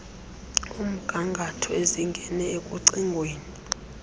omgangatho ezingene ekucingweni